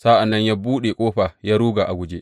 Sa’an nan ya buɗe ƙofa ya ruga a guje.